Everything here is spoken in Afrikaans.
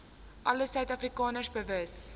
alle suidafrikaners bewus